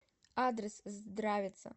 адрес здравица